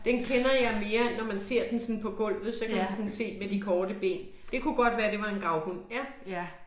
Den kender jeg mere når man ser den sådan på gulvet, så kan man sådan se med de korte ben. Det kunne godt være det var en gravhund, ja